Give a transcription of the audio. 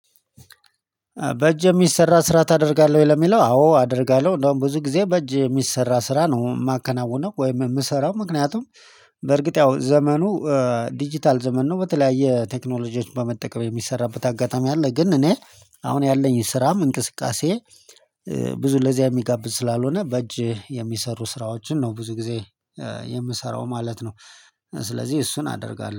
በእጅ የሚሰራ ስራ ታደርጋለህ ወይ? ለሚለው አዎ አደርጋለሁ እንደውም ብዙ ጊዜ በእጅ የሚሰራ ስራ ነው የማከናውነው ወይም የምሰራው ምክንያቱም በእርግጥ ያው ዘመኑ ዲጂታል ዘመን ነው በተለያየ ቴክኖሎጂዎች በመጠቀም የሚሰራበት አጋጣሚ አለ ግን እኔ አሁን ያለኝ ስራም እንቅስቃሴ ብዙ ለዚያ የሚጋብዝ ስላልሆነ በእጅ የሚሰሩ ስራዎችን ነው ብዙ ጊዜ የምሰራው ማለት ነው። ስለዚህ እሱን አደርጋለሁ